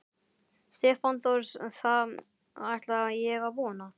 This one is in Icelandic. Stefán Thors: Það ætla ég að vona?